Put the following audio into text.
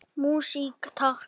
Músík, takk!